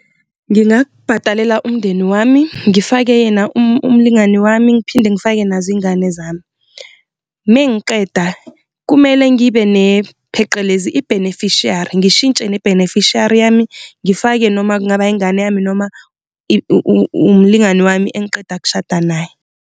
Ngingakubhadalela umndeni wami, ngifake yena umlingani wami ngiphinde ngifake nazo izingane zami, uma ngiqeda kumele ngibene pheqelezi i-beneficiary, ngishintshe ne-beneficiary yami ngifake noma kungaba ingane yami noma umlingani wami engiqeda kushada naye.